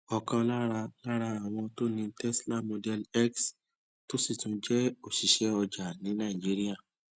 òkan lára lára àwọn tó ní tesla model x tó sì tún jé òṣìṣẹ ọjà ní nàìjíríà